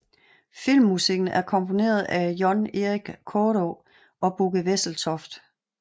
Filmmusikken er komponeret af John Erik Kaada og Bugge Wesseltoft